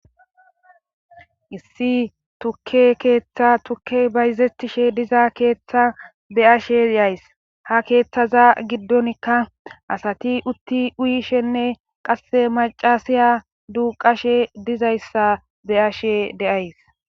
Issi tukke keeththa tukke bayzetishe diza keeththa be ashe yays ha keeththaza giddonkka asati utti uyishenne qasse macasiya duuqashe dizayssa be ashe deays.